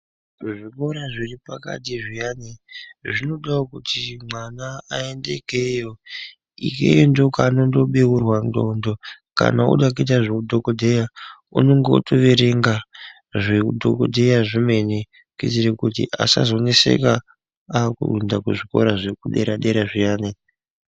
Ku zvikora zviri pakati zviyani zvino dawo kuti mwana ayende ikweyo iyoyo ndo kwa anondo beurwa ndxondo kana oda kuita zve udhokodheya unenge o erenga zveu dhokodheya zvemene kuti asazo nesaka aku enda ku zvikora zveku dera dera zviyani.